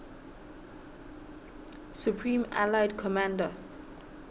supreme allied commander